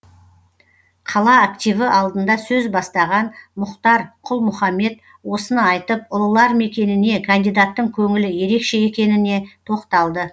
қала активі алдында сөз бастаған мұхтар құл мұхаммед осыны айтып ұлылар мекеніне кандидаттың көңілі ерекше екеніне тоқталды